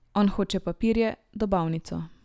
On hoče papirje, dobavnico.